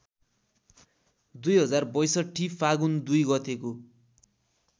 २०६२ फागुन २ गतेको